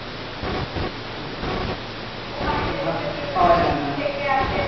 হম হম ওখানে পাওয়া যায়না